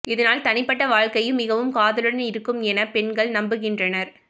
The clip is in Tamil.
இதனால் தனிப்பட்ட வாழ்க்கையும் மிகவும் காதலுடன் இருக்கும் என பெண்கள் நம்புகின்றனர்